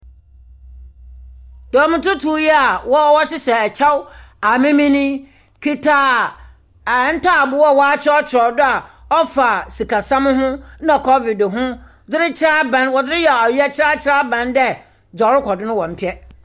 Dɔm tutu yi a wɔhyehyɛ ɛkyɛw amemen yi kita ntaaboo a watwerɛtwerɛ do a ɔfa sikasɛm ho na kɔvid ho de rekyerɛ aban. Wɔde yɛ ɔyɛkyerɛ de akyerɛ aban dɛ deɛ ɔrekɔdo no wɔn mpɛ.